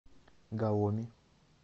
гаоми